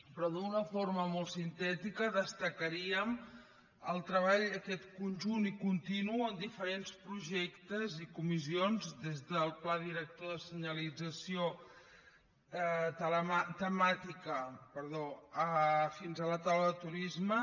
però d’una forma molt sintètica destacaríem el treball aquest conjunt i continu en diferents projectes i comissions des del pla director de senyalització temàtica fins a la taula de turisme